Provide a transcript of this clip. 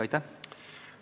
Aitäh!